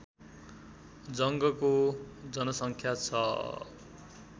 जङ्गको जनसङ्ख्या छ